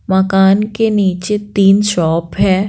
मकान के नीचे तीन शॉप है।